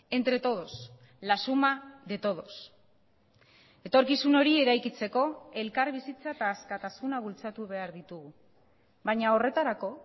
entre todos la suma de todos etorkizun hori eraikitzeko elkarbizitza eta askatasuna bultzatu behar ditugu baina horretarako